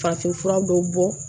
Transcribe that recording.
Farafinfura dɔw bɔ